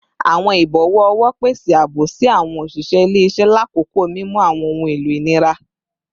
Awọn ibọwọ ọwọ pese aabo si awọn oṣiṣẹ ile-iṣẹ lakoko mimu awọn ohun elo inira